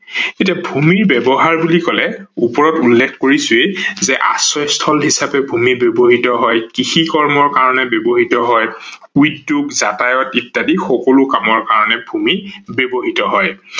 এতিয়া ভূমি ব্যৱহাৰ বুলি কলে ওপৰত উল্লেখ কৰিছোৱেই যে আশ্ৰয়স্থল হিচাপে ভূমি ব্যৱহিত হয়, কৃষি কৰ্মৰ কাৰনে ব্যৱহিত হয়, উদ্যোগ, যাতায়ত ইত্যাদি সকলো কামৰ কাৰনে বাবে ভূমি ব্যৱহিত হয়